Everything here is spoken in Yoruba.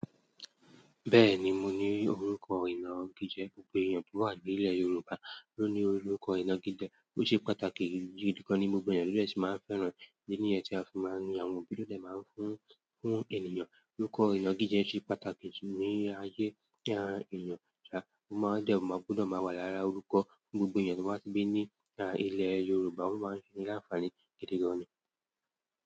Bẹ́ẹ̀ni, mo ní orúkọ ìna igi jẹ́ gbogbo ènìyàn tó wà ní ilẹ̀ Yorùbá ló ní orúkọ ìna igi jẹ́, ó ṣe pàtàkì gidi gan ní gbogbo ìlú èsì máa ń fẹ́ràn ìdí nìyẹn tí a fi máa ń ri àwọn òbí lóde máa ń fún, fún ènìyàn orúkọ ìna gidi jẹ́ ṣe pàtàkì ní ayé àwọn ènìyàn. Ọba máa ń jẹ́ ọba, gbọ́dọ̀ máa wà lára orúkọ gbogbo ènìyàn tó bá ti bí ní ilẹ̀ Yorùbá, ó máa ń ní àǹfààní gidi gan ni.